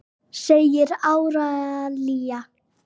segir Árelía.